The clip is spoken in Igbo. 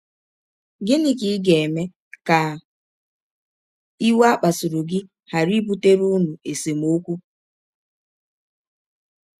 Gịnị ka ị ga - eme ka iwe a kpasụrụ gị ghara ibụtere ụnụ esemọkwụ?